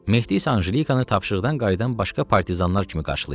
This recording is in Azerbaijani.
Mehdi isə Anjelikanı tapşırıqdan qayıdan başqa partizanlar kimi qarşılayırdı.